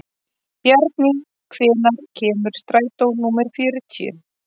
Bjarný, hvenær kemur strætó númer fjörutíu?